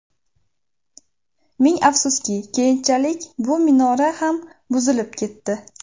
Ming afsuski, keyinchalik bu minora ham buzilib ketdi.